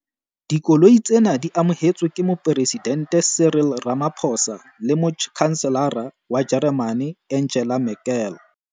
Dikoloi tsena di amohetswe ke Moporesidente Cyril Ramaphosa le Motjhanselara wa Jeremane Angela Merkel.